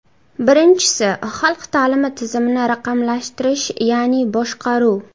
Birinchisi, xalq ta’limi tizimini raqamlashtirish, ya’ni boshqaruv.